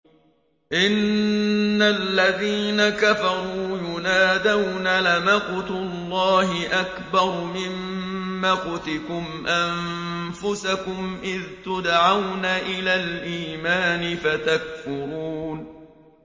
إِنَّ الَّذِينَ كَفَرُوا يُنَادَوْنَ لَمَقْتُ اللَّهِ أَكْبَرُ مِن مَّقْتِكُمْ أَنفُسَكُمْ إِذْ تُدْعَوْنَ إِلَى الْإِيمَانِ فَتَكْفُرُونَ